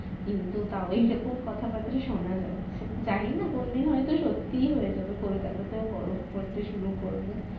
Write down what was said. কিন্তু তাও এইরকম কথাবাত্রা শোনা যাচ্ছে জানিনা কোন দিন হয়ত সত্যি হয়ে যাবে কোলকাতাতে ও বরফ পরতে শুরু করবে